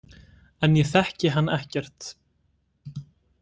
En ég þekki hann ekkert.